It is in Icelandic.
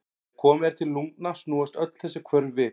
Þegar komið er til lungna snúast öll þessi hvörf við.